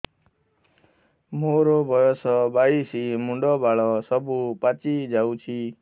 ମୋର ବୟସ ବାଇଶି ମୁଣ୍ଡ ବାଳ ସବୁ ପାଛି ଯାଉଛି